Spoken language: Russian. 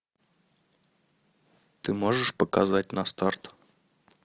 ты можешь показать на старт